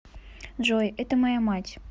джой это моя мать